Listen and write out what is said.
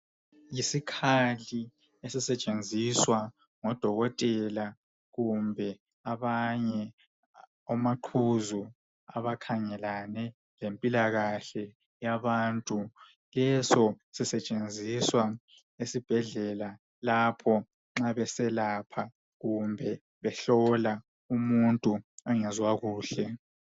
Isikhali esisetshenziswa ngodokotela kumbe abanye omaqhuzu abakhangelane lempilakahle yabantu. Leso sisetshenziswa esibhedlela lapho nxa beselapha kumbe behlola umuntu ongezwa kuhle.